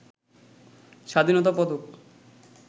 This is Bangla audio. স্বাধীনতা পদক